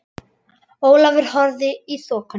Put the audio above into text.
Ólafur horfði í þokuna.